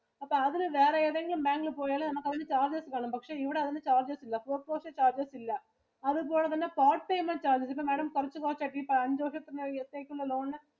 അപ്പൊ അതിനു വേറെ ഏതെങ്കിലും bank ഇല് പോയാല് നമുക്ക് അവര് charges വാങ്ങും. പക്ഷെ ഇവിടെ അതിനു charges ഇല്ല. post loan ഇന് charges ഇല്ല. അതുപോലെ തന്നെ quad payment charges ippo madam കുറച്ചു കുറച്ചു ഇപ്പൊ അഞ്ചു വർഷത്തേക്ക് എടുത്തേക്കുന്ന loan ഇന്